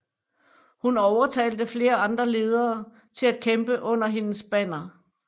Hun overtalte flere andre ledere til at kæmpe under hendes banner